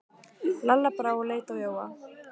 Lalla brá og leit á Jóa.